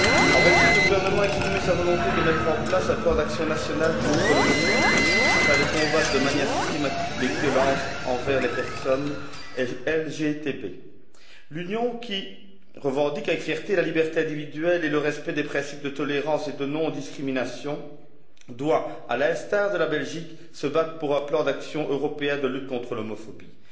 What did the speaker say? En Belgique, le gouvernement a exprimé sa volonté de mettre en place un plan d'action national contre l'homophobie, afin de combattre de manière systématique les violences envers les personnes LGBT. L'Union, qui revendique avec fierté la liberté individuelle et le respect des principes de tolérance et de non discrimination, doit, à l'instar de la Belgique, se battre pour un plan d'action européen de lutte contre l'homophobie.